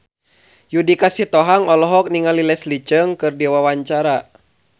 Judika Sitohang olohok ningali Leslie Cheung keur diwawancara